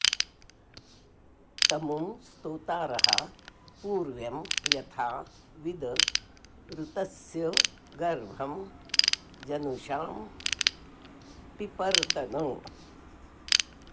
तमु॑ स्तोतारः पू॒र्व्यं यथा॑ वि॒द ऋ॒तस्य॒ गर्भं॑ ज॒नुषा॑ पिपर्तन